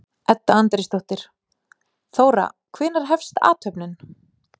Edda Andrésdóttir: Þóra, hvenær hefst athöfnin?